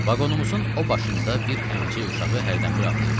Vaqonumuzun o başında bir əmcək uşağı hərdən bir ağlayırdı.